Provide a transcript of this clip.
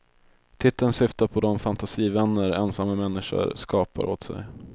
Titeln syftar på de fantasivänner ensamma människor skapar åt sig.